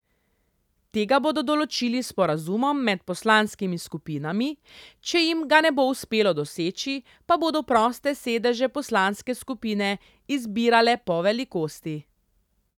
Tega bodo določili s sporazumom med poslanskimi skupinami, če jim ga ne bo uspelo doseči, pa bodo proste sedeže poslanske skupine izbirale po velikosti.